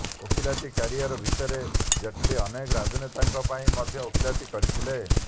ଓକିଲାତି କ୍ୟାରିୟର ଭିତରେ ଜେଟଲୀ ଅନେକ ରାଜନେତାଙ୍କ ପାଇଁ ମଧ୍ୟ ଓକିଲାତି କରିଥିଲେ